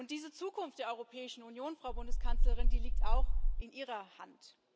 Diese Zukunft der Europäischen Union, Frau Bundeskanzlerin, die liegt auch in Ihrer Hand.